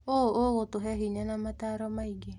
ũũ ũgũtũhe hinya na mataaro maingĩ.